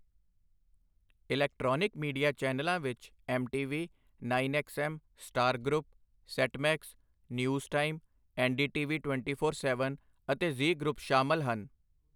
Electronic media ਚੈਨਲਾਂ ਵਿੱਚ MTV, nine XM, Star group, Set Max, News Time, NDTV twenty four seven ਅਤੇ Zee group ਸ਼ਾਮਲ ਹਨ।